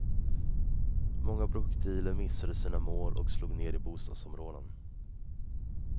Många projektiler missade sina mål och slog ner i bostadsområden.